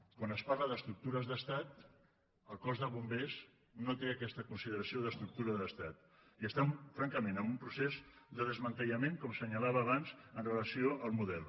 quan es parla d’estructures d’estat el cos de bombers no té aquesta consideració d’estructura d’estat i està francament en un procés de desmantellament com assenyalava abans amb relació al model